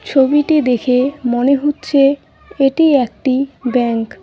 ছবিটি দেখে মনে হচ্ছে এটি একটি ব্যাংক ।